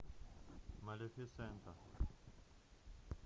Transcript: малефисента